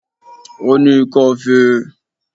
Ó ní ikọ́ fé e